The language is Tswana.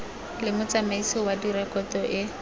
le motsamaisi wa direkoto e